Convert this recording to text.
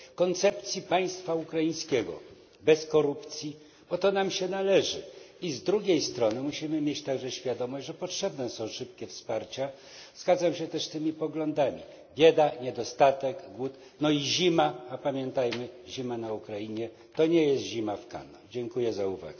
koncepcji państwa ukraińskiego bez korupcji, bo to nam się należy, i z drugiej strony musimy mieć także świadomość, że potrzebne są szybkie wsparcia zgadzam się też z tymi poglądami bieda, niedostatek i głód, no i zima na Ukrainie, a pamiętajmy zima na Ukrainie to nie jest zima